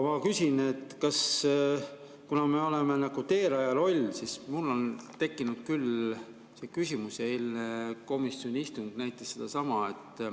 Aga kuna me oleme nagu teerajaja rollis, siis mul on tekkinud küll küsimus ja eilne komisjoni istung näitas sedasama.